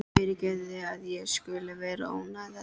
Fyrirgefðu að ég skuli vera að ónáða þig.